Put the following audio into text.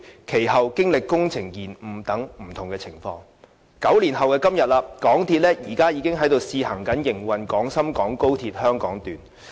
其後，經歷工程延誤等不同情況，至9年後的今天，香港鐵路有限公司現已在試行營運廣深港高鐵香港段。